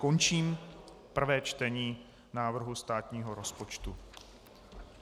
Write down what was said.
Končím prvé čtení návrhu státního rozpočtu.